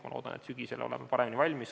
Ma loodan, et sügisel oleme paremini valmis.